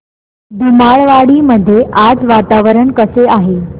धुमाळवाडी मध्ये आज वातावरण कसे आहे